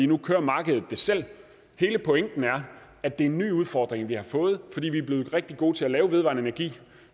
nu kører markedet det selv hele pointen er at det er en ny udfordring vi har fået fordi vi er blevet rigtig gode til at lave vedvarende energi